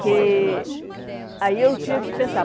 que aí eu tinha que pensar.